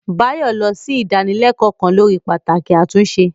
Bayo lọ sí ìdánilẹ́kọ̀ọ́ kan lórí pàtàkì àtúnṣe.